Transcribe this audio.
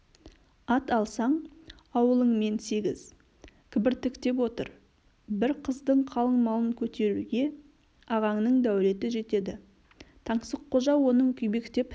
ат алсаң ауылыңмен сегіз кібіртіктеп отыр бір қыздың қалыңмалын көтеруге ағаңның дәулеті жетеді таңсыққожа оның күйбектеп